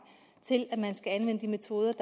til at man skal anvende de metoder